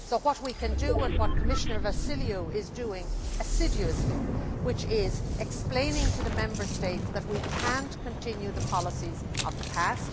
So what we can do and what Commissioner Vassiliou is doing assiduously is explain to the Member States that we cannot continue the policies of the past.